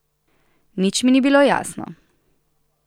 Nič mi ni bilo jasno.